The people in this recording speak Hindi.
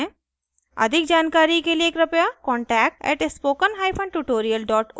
अधिक जानकारी के लिए कृपया contact @spokentutorial org को लिखें